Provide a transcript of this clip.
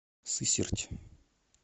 сысерть